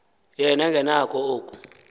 yena engenakho oko